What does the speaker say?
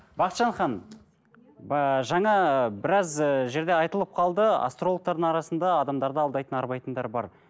бақытжан ханым ыыы жаңа ы біраз ііі жерде айтылып қалды астрологтардың арасында адамдарды алдайтын арбайтындар бар